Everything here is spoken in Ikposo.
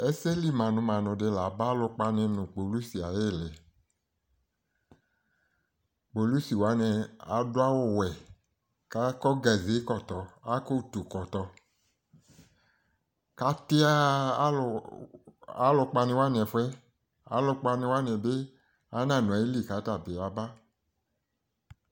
Ɛsɛlɩ manʋ manʋ labǝ alʋkpanɩ nʋ kpolʋsɩ ayɩlɩ Kpolʋsɩ wanɩ adʋ awʋ wɛ kakɔ ʋtʋ kɔtɔ kati aya alʋkpanɩwa nɩ ɛfʋɛ Alʋkpanɩwa nɩbɩ ananʋ ayɩlɩ katabɩ atɩ ya ba